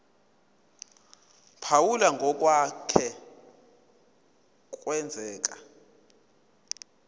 phawula ngokwake kwenzeka